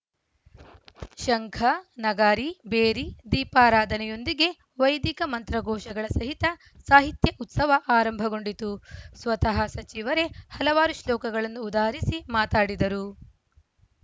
ಶಂಖ ನಗಾರಿ ಭೇರಿ ದೀಪಾರಾಧನೆಯೊಂದಿಗೆ ವೈದಿಕ ಮಂತ್ರಘೋಷಗಳ ಸಹಿತ ಸಾಹಿತ್ಯ ಉತ್ಸವ ಆರಂಭಗೊಂಡಿತು ಸ್ವತಃ ಸಚಿವರೇ ಹಲವಾರು ಶ್ಲೋಕಗಳನ್ನು ಉದಾಹರಿಸಿ ಮಾತಾಡಿದರು